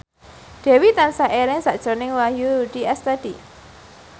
Dewi tansah eling sakjroning Wahyu Rudi Astadi